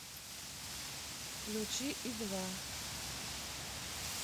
включи и два